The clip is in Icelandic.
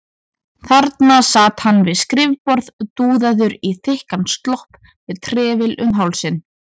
Þarna sat hann við skrifborð, dúðaður í þykkan slopp og með trefil um hálsinn.